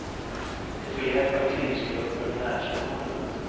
De får hjälp av krisgrupper och närstående.